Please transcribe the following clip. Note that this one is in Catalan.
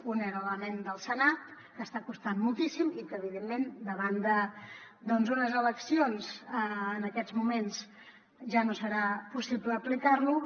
un era l’element del senat que està costant moltíssim i que evidentment davant d’unes eleccions en aquests moments ja no serà possible aplicar lo